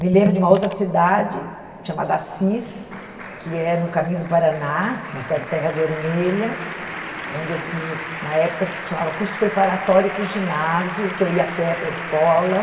Me lembro de uma outra cidade, chamada Assis, que é no caminho do Paraná, uma cidade de terra vermelha, onde eu fiz o, na época, chamava curso preparatório para o ginásio, que eu ia a pé para a escola.